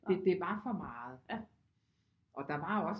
Det det var for meget og der var også